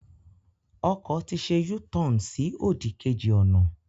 Ọkọ̀ ti ṣẹ U-turn sí òdì kejì ọ̀nà.